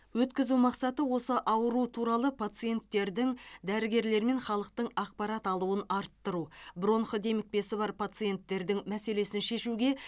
өткізу мақсаты осы ауру туралы пациенттердің дәрігерлер мен халықтың ақпарат алуын арттыру бронх демікпесі бар пациенттердің мәселесін шешуге